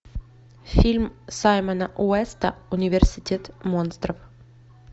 фильм саймона уэста университет монстров